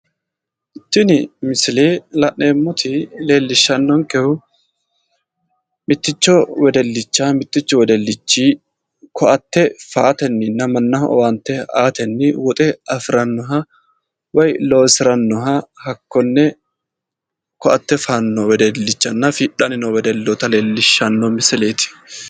Tini misile la'neemmoti leellishshannonkehu mitticho wedellicha mittichu wedellichi koatte feyatenninna mannaho owaante aatenni woxe afirannoha woyi loosirannoha hakkonne koatte feyanno wedellichanna fiidhanni noo wedelloota leellishshanno misileeti.